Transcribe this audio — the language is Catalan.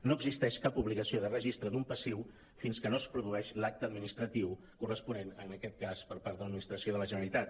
no existeix cap obligació de registre d’un passiu fins que no es produeix l’acte adminis·tratiu corresponent en aquest cas per part de l’administració de la generalitat